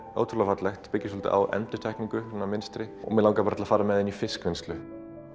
ótrúlega fallegt og byggir svolítið á endurtekningu svona mynstri mig langaði bara til að fara með það inn í fiskvinnslu